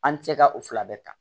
An tɛ ka o fila bɛɛ ta